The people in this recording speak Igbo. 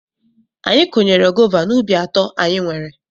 Anyị kụnyere gova n'ubi atọ anyị nwere.